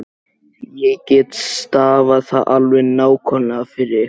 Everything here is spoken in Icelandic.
Ég get stafað það alveg nákvæmlega fyrir ykkur.